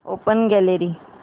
open gallery